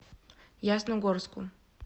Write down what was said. ясногорску